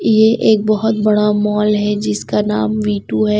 ये एक बहुत बड़ा मॉल है जिसका नाम मिटू है।